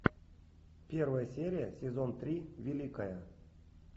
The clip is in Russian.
первая серия сезон три великая